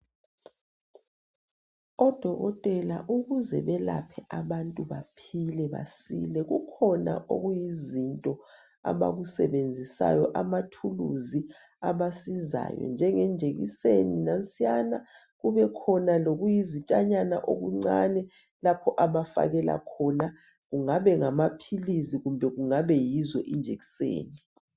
Odokotela ukuze belaphe abantu baphile basile kukhona okuyizinto abakusebenzisayo amathulusi abasizayo njengenjekiseni nansiyana, kubekhona lokuyizitshanyana okuncani lapho abafakela khona kungabe ngamaphilisi kumbe kungabe yizo injekiseni.